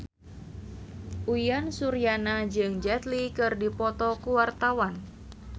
Uyan Suryana jeung Jet Li keur dipoto ku wartawan